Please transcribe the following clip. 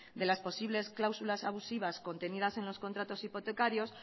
de las posibles cláusulas abusivas contenidas en los contratos hipotecarios